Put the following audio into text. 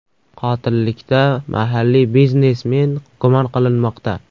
Qotillikda mahalliy biznesmen gumon qilinmoqda.